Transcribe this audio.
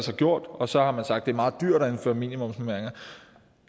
har gjort så har man sagt er meget dyrt at indføre minimumsnormeringer